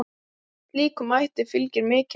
Slíkum mætti fylgir mikil ábyrgð.